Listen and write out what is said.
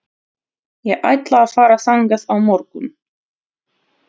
Ég ætla að fara þangað á morgun.